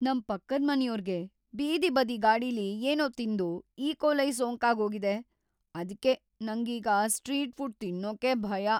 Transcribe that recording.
ನಮ್ ಪಕ್ಕದ್ಮನೆಯೋರ್ಗೆ ಬೀದಿ ಬದಿ ಗಾಡಿಲಿ ಏನೋ ತಿಂದು ಈಕೋಲೈ ಸೋಂಕಾಗೋಗಿದೆ, ಅದ್ಕೆ ನಂಗೀಗ ಸ್ಟ್ರೀಟ್ ಫುಡ್ ತಿನ್ನೋಕೇ ಭಯ.